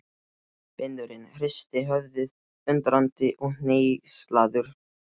Vinurinn hristir höfuðið, undrandi og hneykslaður.